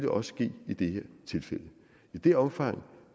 også ske i det her tilfælde i det omfang